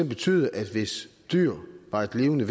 betyde at hvis dyr var levende